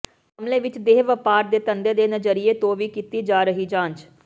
ਮਾਮਲੇ ਵਿੱਚ ਦੇਹ ਵਪਾਰ ਦੇ ਧੰਦੇ ਦੇ ਨਜ਼ਰੀਏ ਤੋਂ ਵੀ ਕੀਤੀ ਜਾ ਰਹੀ ਜਾਂਚ